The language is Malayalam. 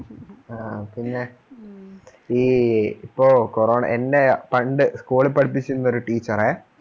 ആ പിന്നെ ഈ ഇപ്പോ corona എന്നെ പണ്ട് സ്കൂളിൽ പഠിപ്പിച്ചിരുന്ന ഒരു ടീച്ചറേ